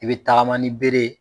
I be tagama ni bere ye